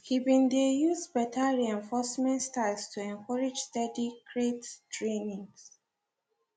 he been de use better reinforcement styles to encourage steady crate trainings